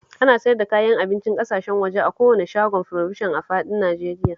Ana siyar da kayan abincin ƙasashen waje a kowane shagon furobishan a faɗin Najeriya